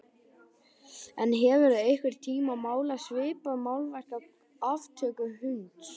En hefurðu einhvern tíma málað svipað málverk af aftöku hunds?